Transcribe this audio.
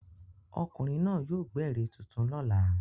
Ọkùnrin náà yóò gbẹ́ ère tuntun lọ́la.